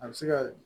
A bɛ se ka